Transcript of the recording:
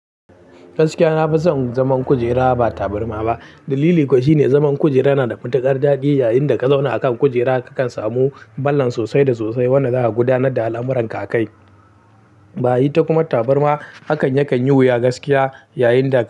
Gaskiya na fi son zaman kujera, ba tabarma ba. Dalili kuwa shine, zaman kujera na da mutuƙar daɗi. Yayinda ka zauna a kan kujera, ka kan samu balan sosai da sosai, wanda za ka gudanar da al'amuran kakai. Ba ita kuma tabarma, hakan yakan yi wuya gaskiya, yayinda.